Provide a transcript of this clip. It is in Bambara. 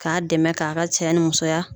K'a dɛmɛ k'a ka cɛya ni musoya.